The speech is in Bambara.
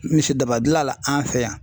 Misidaba gilala an fɛ yan.